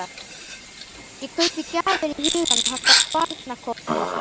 Ég kaupi gjafir í huganum handa barnakórnum okkar.